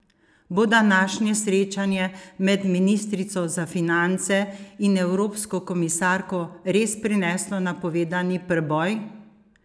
Bo današnje srečanje med ministrico za finance in evropsko komisarko res prineslo napovedani preboj?